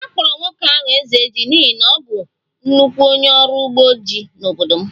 A kpọrọ nwoke ahụ 'Ezeji' n'ihi na ọ bụ nnukwu onye ọrụ ugbo ji n'obodo m